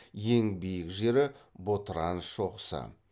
ең биік жері ботранж шоқысы